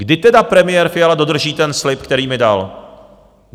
Kdy tedy premiér Fiala dodrží ten slib, který mi dal?